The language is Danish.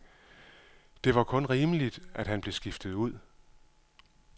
Det var kun rimeligt, at han blev skiftet ud.